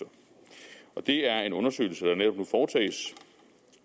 for det er en undersøgelse der netop